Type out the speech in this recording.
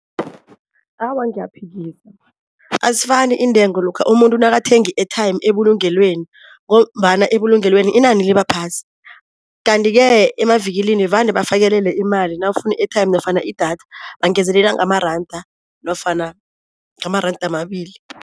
Awa ngiyaphikisa, azifani iintengo lokha umuntu nakathenga i-airtime ebulungelweni ngombana ebulungelweni inani libaphasi, kanti-ke emavikilini vane bafakelele imali nawufuna i-airtime nofana idatha, bangezelela ngamaranda nofana amaranda amabili.